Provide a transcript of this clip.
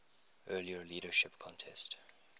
earlier leadership contest